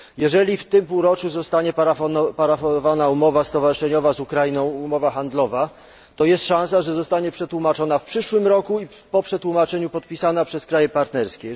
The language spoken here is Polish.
Jeżeli w tym półroczu zostanie parafowana handlowa umowa stowarzyszeniowa z Ukrainą, to jest szansa, że zostanie przetłumaczona w przyszłym roku i po przetłumaczeniu podpisana przez kraje partnerskie.